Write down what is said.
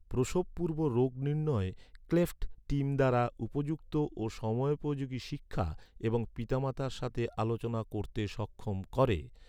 প্রসবপূর্ব রোগ নির্ণয় cleft team দ্বারা উপযুক্ত ও সময়োপযোগী শিক্ষা এবং পিতামাতার সাথে আলোচনা করতে সক্ষম করে।